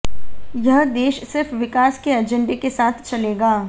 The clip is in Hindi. यह देश सिर्फ विकास के अजेंडे के साथ चलेगा